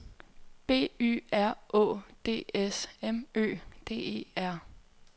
B Y R Å D S M Ø D E R